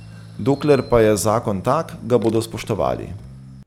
Dokler pa je zakon tak, ga bodo spoštovali.